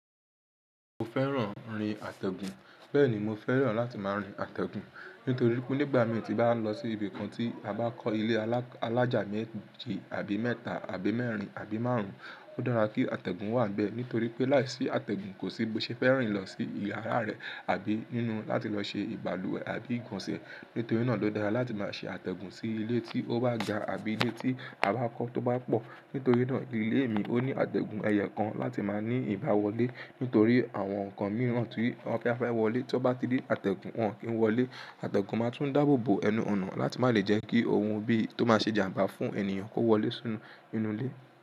Mo fẹ́ràn rin àtẹ̀gùn. Bẹ́ẹ̀ ni, mo fẹ́ràn láti máa rin àtẹ̀gùn. Nítorí pé nígbà mi ò tí bá lọ sí ibi kan tí a bá kọ́ ilé alájà méje àbí mẹ́ta àbí mẹ́rin àbí márùn-ún, ó dára kí àtẹ̀gùn wà níbẹ̀. Nítorí pé láìsí àtẹ̀gùn kò sí bó ṣe fẹ́ rìn lọ sí iyàrá rẹ̀ àbí nínú láti lọ ṣe ìbaluwe àbí ìgbonse. Nítorí náà ló dára láti máa ṣe àtẹ̀gùn sí ilé tí ó bá ga àbí ilé tí a bá kọ́ tó bá pọ̀. Nítorí náà ilé mi ó ní àtẹ̀gùn ẹyo kan láti má ní ìbá wọlé. Nítorí àwọn nǹkan mìíràn tí wọ́n kí a fẹ́ wọlé tó bá ti dé àtẹ̀gùn, wọn kì í wọlé. Àtẹ̀gùn máa tún dáàbò bò ẹnu ọ̀nà láti má le jẹ́ kí ohun bí tó má ṣe jàmbá fún ènìyàn kó wọlé sínú inú ilé.